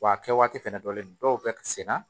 Wa a kɛ waati fɛnɛ jɔlen dɔw be sen na